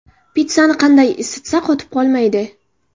Pitssani qanday isitsa qotib qolmaydi?